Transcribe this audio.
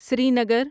Srinagar